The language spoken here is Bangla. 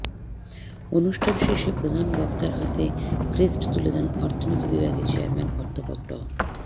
অনুষ্ঠান শেষে প্রধান বক্তার হাতে ক্রেস্ট তুলে দেন অর্থনীতি বিভাগের চেয়ারম্যান অধ্যাপক ড